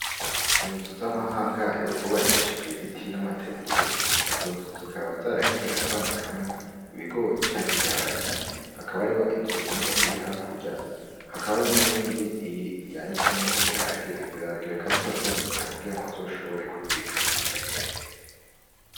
Inzu z'amahangare bubakishije ibiti n'amategura. Izo nzu zikaba zaragenewe kwanikamwo ibigori canke ibiharage. Hakaba hariho inzu imwe iri hakurya, hakaba hariho n'iyindi yanitsemwo ibiharage. Ivyo biharage bakaba bariko baravyanika kugirango bazoshobore kubibika bimeze neza.